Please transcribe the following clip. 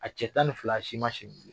A cɛ tan ni fila, a si ma si